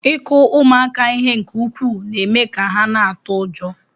Ịkụ ụmụaka ihe nke ukwuu na-eme ka ha na-atụ ụjọ.